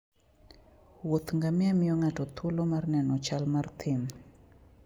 Wuoth ngamia miyo ng'ato thuolo mar neno chal mar thim.